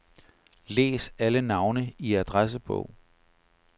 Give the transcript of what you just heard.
Læs alle navne i adressebog.